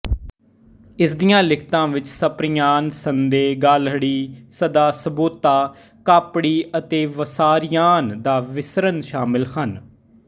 ਇਸਦੀਆਂ ਲਿਖਤਾਂ ਵਿੱਚ ਸਪਰਿਆਨ ਸੰਦੇ ਗਾਲਹੜੀ ਸਦਾ ਸੋਵੇਤਾ ਕਾਪੜੀ ਅਤੇ ਵਸਾਰਿਆਨ ਨਾ ਵਿਸਰਨ ਸ਼ਾਮਿਲ ਹਨ